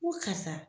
Ko karisa